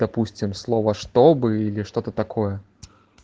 допустим слова чтобы или что-то такое